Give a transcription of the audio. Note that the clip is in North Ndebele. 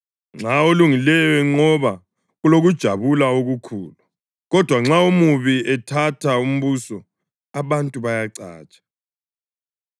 Nxa olungileyo enqoba kulokujabula okukhulu; kodwa nxa omubi ethatha umbuso abantu bayacatsha.